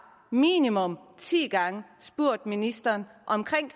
minimum ti gange spurgt ministeren om